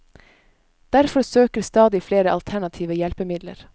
Derfor søker stadig flere alternative hjelpemidler.